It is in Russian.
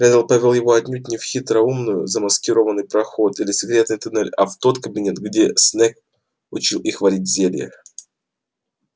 реддл повёл его отнюдь не в хитроумную замаскированный проход или секретный тоннель а в тот кабинет где снегг учил их варить зелья